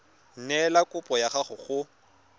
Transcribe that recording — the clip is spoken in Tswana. neela kopo ya gago go